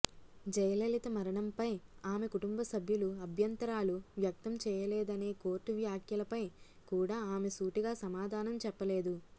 జయలిలత మరణంపై ఆమె కుటుంబ సభ్యులు అభ్యంతరాలు వ్యక్తం చేయలేదనే కోర్టు వ్యాఖ్యలపై కూడా ఆమె సూటిగా సమాధానం చెప్పలేదు